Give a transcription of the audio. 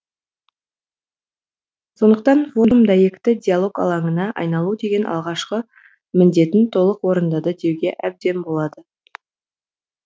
сондықтан форум дәйекті диалог алаңына айналу деген алғашқы міндетін толық орындады деуге әбден болады